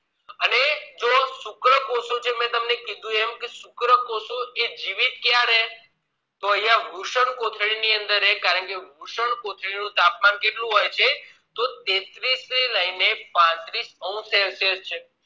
શુક્રકોષો જ મેં તમને કીધું શુક્રકોષો જીવી કયારે તો અહિયાં વૃષ્ણકોથળી ની અંદર કારણે વૃષ્ણકોથળી ની અંદર તાપમાન કેટલું હોય છે તોહ તેત્રીસ થી લઈને પાંત્રીશ celsius છે